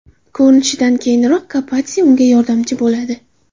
Ko‘rinishidan, keyinroq Kapadze unga yordamchi bo‘ladi.